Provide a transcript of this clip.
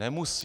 Nemusí.